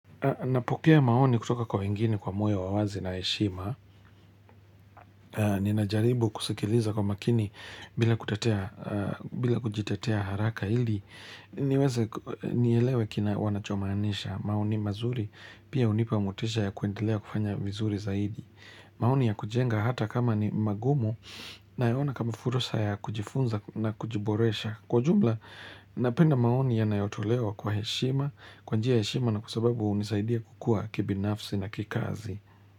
Napokea maoni kutoka kwa wengine kwa moyo wa wazi na heshima. Ninajaribu kusikiliza kwa makini bila kujitetea haraka ili. Niweze nielewe wanachomaanisha maoni mazuri pia hunipa motisha ya kuendelea kufanya vizuri zaidi. Maoni ya kujenga hata kama ni magumu nayaona kama fursa ya kujifunza na kujiboresha. Kwa jumla, napenda maoni yanayotolewa kwa heshima, kwa njia ya heshima na kwa sababu hunisaidia kukua kibinafsi na kikazi.